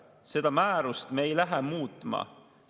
Seda määrust me ei lähe muutma.